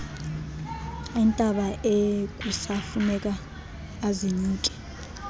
iintaba ekusafuneka azinyuke